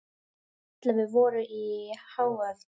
Ellefu voru í áhöfn.